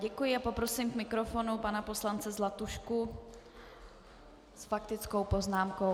Děkuji a poprosím k mikrofonu pana poslance Zlatušku s faktickou poznámkou.